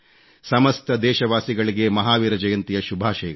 ಸಮಸ್ತ ದೇಶವಾಸಿಗಳಿಗೆ ಮಹಾವೀರ ಜಯಂತಿಯ ಶುಭಾಷಯಗಳು